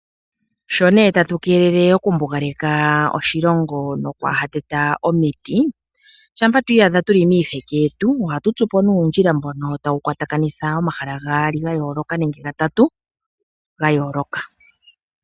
Sho nee tatu kelele oku mbugaleka oshilongo nokwa hateta omiti, shampa twiihadha tuli miiheke yetu, ohatu tsupo ne uundjila mbono tawu kwata kanitha omahala gaali ga yooloka nenge gatatu ga yooloka.